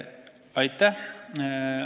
Aitäh!